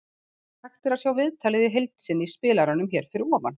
Hægt er að sjá viðtalið í heild sinni í spilaranum hér fyrir ofan.